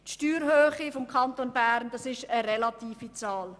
Die Steuerhöhe im Kanton Bern ist eine relative Zahl.